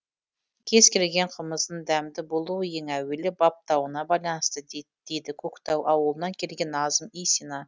кез келген қымыздың дәмді болуы ең әуелі баптауына байланысты дейді көктау ауылынан келген назым исина